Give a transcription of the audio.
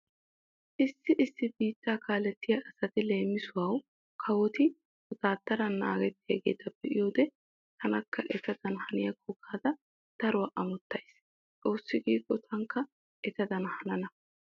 Issi issi biittaa kaalettiya asati leemisuwau kawoti wotaaddaran naagettiyageeta be'iyoode taanikka etadan haniyakko gaada daruwa amottays. Xoossi giikko taanikka etadan hanana.